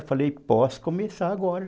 Eu falei, posso começar agora.